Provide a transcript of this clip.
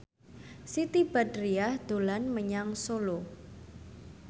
Siti Badriah dolan menyang Solo